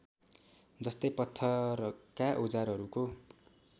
जस्तै पत्थरका औजारहरूको